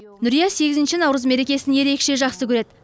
нүрия сегізінші наурыз мерекесін ерекше жақсы көреді